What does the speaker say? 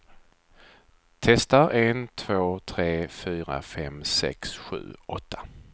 Testar en två tre fyra fem sex sju åtta.